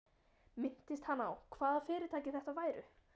Minntist hann á, hvaða fyrirtæki þetta væru?